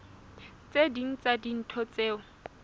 tse ding tsa dintho tseo